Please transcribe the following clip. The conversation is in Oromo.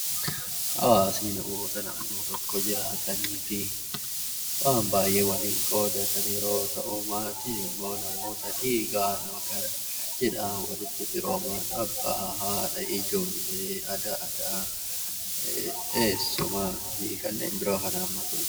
Hawaasni namoota naannoo tokko jiraatanii fi waan baay'ee waliin qooddatan yeroo ta'u, maatiin immoo namoota dhiigaan yookiin cidhaan walitti firooman abbaa, haadha, ijoollee fi fira dhiyoo kan hammatudha.